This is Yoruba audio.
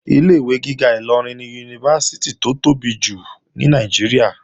Ilé-ìwé gíga Ìlọrin ni Yunifásítì tó tóbi jù ní Nàìjíríà